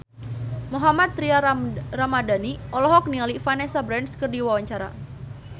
Mohammad Tria Ramadhani olohok ningali Vanessa Branch keur diwawancara